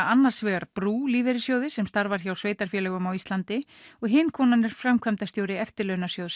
annars vegar brú Lífeyrissjóði sem starfar hjá sveitarfélögum á Íslandi og hin konan er framkvæmdastjóri Eftirlaunasjóðs